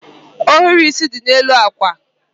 Ohiri isi dị n'elu akwa